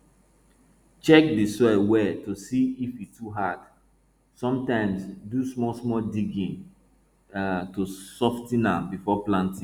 check di soil well to see if e too hard sometimes do smallsmall digging um to sof ten am before planting